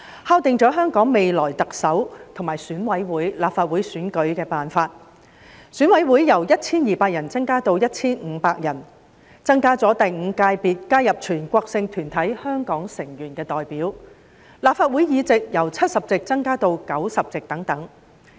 敲定了香港未來特首、選舉委員會及立法會的選舉辦法。選委會由 1,200 人增加至 1,500 人，增加了第五界別，加入了全國性團體香港成員的代表，而立法會議席則由70席增加至90席等。